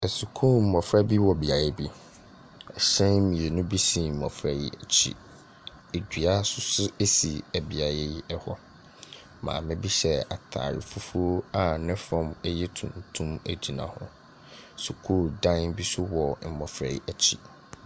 Sukuu mmɔfra bi wɔ beaeɛ bi. Hyɛn mmienu bi si mmɔfra yi akyi. Dua nso so si beaeɛ yi hɔ. Maame bi hyɛ atade fufuo a ne fam yɛ tuntum gyina hɔ. Sukuu dan bi nso wɔ mmɔfra yi akyi.